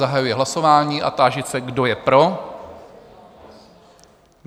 Zahajuji hlasování a táži se, kdo je pro?